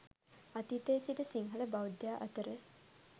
අතීතයේ සිට සිංහල බෞද්ධයා අතර